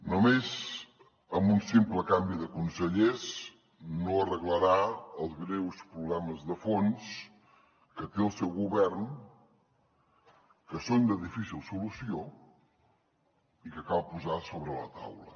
només amb un simple canvi de consellers no arreglarà els greus problemes de fons que té el seu govern que són de difícil solució i que cal posar sobre la taula